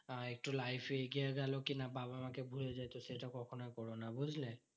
আহ একটু life এ এগিয়ে গেলো কি না বাবা মা কে ভুলে যেত, সেটা কখনোই করোনা, বুঝলে?